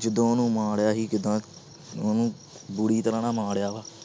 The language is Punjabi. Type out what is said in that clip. ਜਦੋਂ ਉਹਨੂੰ ਮਾਰਿਆ ਸੀ ਕਿੱਦਾਂ ਉਹਨੂੰ ਬੁਰੀ ਤਰ੍ਹਾਂ ਨਾਲ ਮਾਰਿਆ ਵਾ।